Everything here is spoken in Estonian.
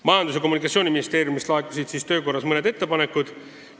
Majandus- ja Kommunikatsiooniministeeriumist laekusid töö korras mõned ettepanekud.